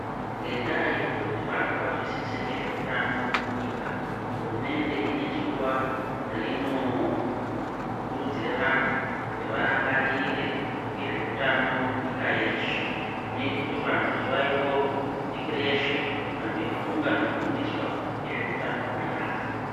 Ngenda yekuda kuti vantu vazwisise nezveutano munyika hurumende ine zuw reino kurudzira vantu kuti varangarire nezveutano munyika yeshe. Zvinoita kuti vantu zuwa iroro vhiki reshe vantu veifunda nekufundiswa nezveutano.